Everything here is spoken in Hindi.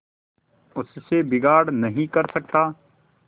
उससे बिगाड़ नहीं कर सकता